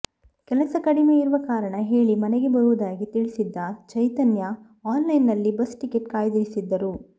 ಕೆಲಸ ಕಡಿಮೆ ಇರುವ ಕಾರಣ ಹೇಳಿ ಮನೆಗೆ ಬರುವುದಾಗಿ ತಿಳಿಸಿದ್ದ ಚೈತನ್ಯ ಆನ್ಲೈನ್ನಲ್ಲಿ ಬಸ್ ಟಿಕೆಟ್ ಕಾಯ್ದಿರಿಸಿದ್ದರು